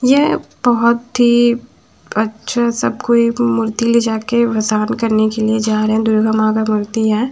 यह बहुत ही अच्छा सब कोई मूर्ति ले जा के करने के लिए जा रहें हैं दुर्गा मां का मूर्ति है।